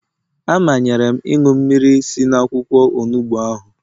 A manyere m ịṅụ mmiri si n'akwụkwọ onugbu ahụ